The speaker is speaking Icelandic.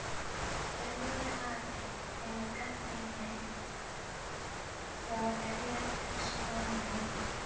Þau voru hafin yfir gagnrýni frá erlendum smámennum.